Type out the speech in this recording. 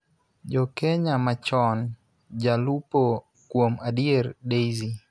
Jo Kenya machon; Jalupo, kuom adier Daisy,